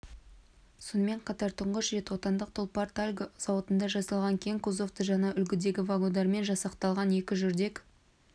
сонымен қатар тұңғыш рет отандық тұлпар-тальго зауытында жасалған кең кузовты жаңа үлгідегі вагондармен жасақталған екі жүрдек